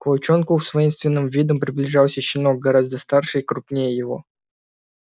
к волчонку с воинственным видом приближался щенок гораздо старше и крупнее его